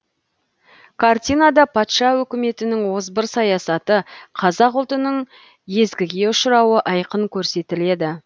картинада патша үкіметінің озбыр саясаты қазақ ұлтының езгіге ұшырауы айқын көрсетіледі